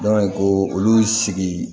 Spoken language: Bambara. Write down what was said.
ko olu sigi